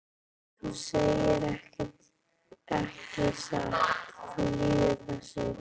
Þú segir ekki satt, þú lýgur þessu!